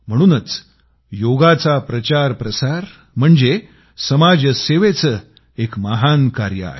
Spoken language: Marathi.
म्हणूनच योगाचा प्रचार प्रसार म्हणजे समाज सेवेचे एक महान कार्य आहे